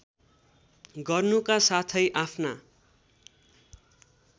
गर्नुका साथै आफ्ना